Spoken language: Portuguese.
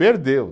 Perdeu.